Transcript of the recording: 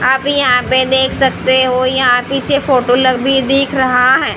आप यहां पे देख सकते हो यहां पीछे फोटो लबी दिख रहा है।